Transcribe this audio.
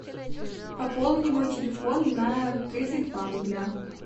пополни мой телефон на тридцать два рубля